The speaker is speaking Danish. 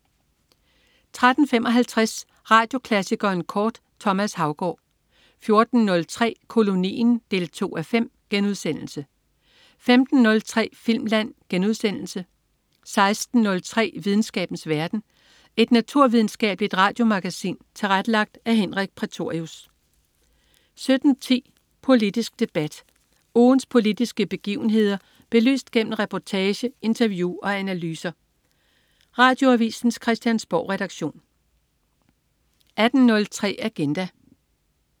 13.55 Radioklassikeren kort. Thomas Haugaard 14.03 Kolonien 2:5* 15.03 Filmland* 16.03 Videnskabens verden. Et naturvidenskabeligt radiomagasin tilrettelagt af Henrik Prætorius 17.10 Politisk debat. Ugens politiske begivenheder belyst gennem reportage, interview og analyser. Radioavisens Christiansborgredaktion 18.03 Agenda